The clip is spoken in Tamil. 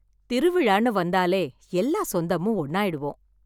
திருவிழா வந்தாலே எல்லா சொந்தமும் ஒண்ணாயிடுவோம்.